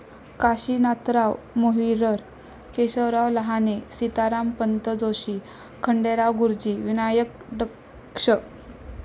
Kashinathrao Mohrir. Keshavrao Lahane, Sitarampant Joshi, Khanderao Guruji, Vinayak Daksh.